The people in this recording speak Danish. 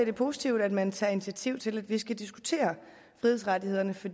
er positivt at man tager initiativ til at vi skal diskutere frihedsrettighederne for